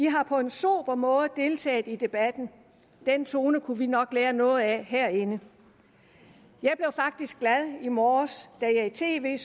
har på en sober måde deltaget i debatten og den tone kunne vi nok lære noget af herinde jeg blev faktisk glad i morges da jeg i tv